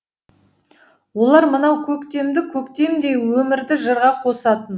олар мынау көктемді көктемдей өмірді жырға қосатын